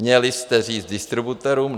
Měli jste říct distributorům: